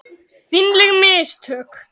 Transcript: Fínleg mistök.